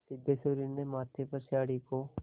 सिद्धेश्वरी ने माथे पर साड़ी को